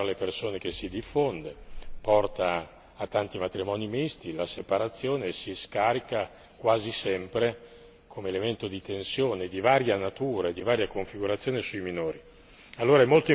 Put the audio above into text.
La mobilità tra le persone che si diffonde porta a tanti matrimoni misti e la separazione si scarica quasi sempre come elemento di tensione di varia natura e di varia configurazione sui minori.